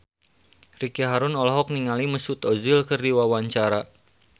Ricky Harun olohok ningali Mesut Ozil keur diwawancara